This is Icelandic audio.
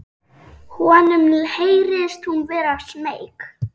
Honum heyrist hún vera smeyk.